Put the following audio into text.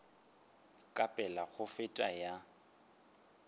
ka pela go feta ya